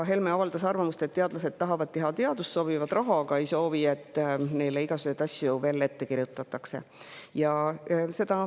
Helme avaldas arvamust, et teadlased tahavad teha teadust, soovivad raha, aga ei soovi, et neile igasuguseid asju veel ette kirjutatakse.